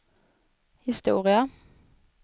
historia